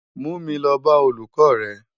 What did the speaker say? Mú mi lò bá ólúkò rè